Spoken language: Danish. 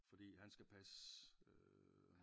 Fordi han skal passe øh